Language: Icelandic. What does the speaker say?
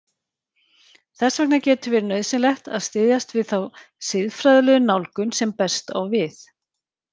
Þess vegna getur verið nauðsynlegt að styðjast við þá siðfræðilegu nálgun sem best á við.